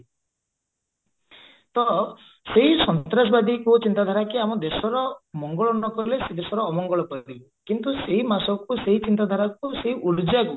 ତ ସେଇ ସନ୍ତ୍ରାସବାଦୀଙ୍କ ଚିନ୍ତା ଧାରାକି ଆମ ଦେଶର ମଙ୍ଗଳ ନକଲେ ସେ ଦେଶର ଅମଙ୍ଗଳ କରିଦେବେ କିନ୍ତୁ ସେଇ କୁ ସେଇ ଚିନ୍ତା ଧାରାକୁ ସେଇ କୁ